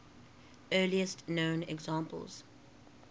earliest known examples